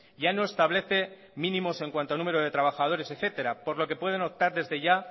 ya no establece mínimos en cuanto a número de trabajadores etcétera por lo que pueden optar desde ya